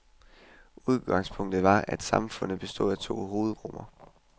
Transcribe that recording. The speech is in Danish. Udgangspunktet var, at samfundet bestod af to hovedgrupper.